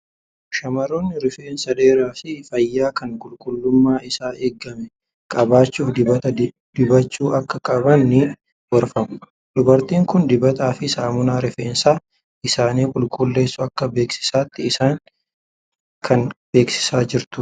Shamarroonni rifeensa dheeraa fi fayyaa kan qulqullummaan isaa eegame qabaachuuf dibata dibachuu akka qaban ni gorfamu. Dubartiin kun dibataa fi saamunaa rifeensa isaanii qulqulleessu akka beeksisaatti isaan kan beeksisaa jirtudha.